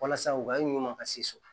Walasa u ka ɲama ka se so